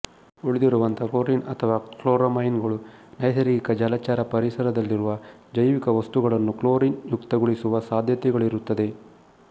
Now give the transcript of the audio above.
ಉಳಿದಿರುವಂತಹ chlorine ಅಥವಾ chloramine ಗಳು ನೈಸರ್ಗಿಕ ಜಲಚರ ಪರಿಸರದಲ್ಲಿರುವ ಜೈವಿಕ ವಸ್ತುಗಳನ್ನು ಕ್ಲೋರಿನ್ ಯುಕ್ತಗೊಳಿಸುವ ಸಾಧ್ಯತೆಗಳಿರುತ್ತದೆ